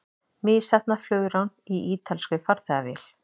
Misheppnað flugrán í ítalskri farþegavél